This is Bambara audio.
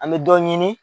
An bɛ dɔ ɲini